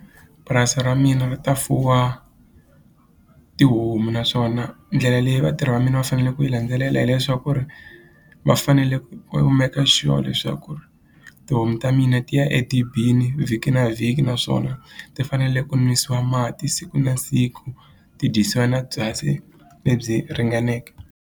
Purasi ra mina ri ta fuwa tihomu naswona ndlela leyi vatirhi va mina va fanele ku yi landzelela hileswaku ri va fanele va maker sure leswaku ku ri tihomu ta mina ti ya edibini vhiki na vhiki naswona ti fanele ku nwisiwa mati siku na siku ti dyisiwa na byasi lebyi ringaneke.